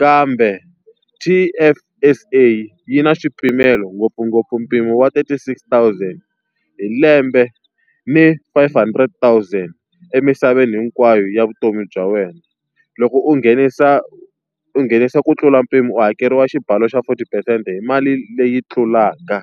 Kambe T_F_S_A yi na swipimelo ngopfungopfu mpimo wa thirty-six thousand hi lembe ni five hundred thousand emisaveni hinkwayo ya vutomi bya wena. Loko u nghenisa u u nghenisa ku tlula mpimo ku hakeriwa xibalo xa forty percent-e hi mali leyi tlulaka.